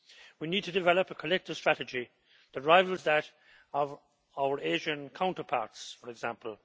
We need to develop a collective strategy that rivals that of our Asian counterparts, for example.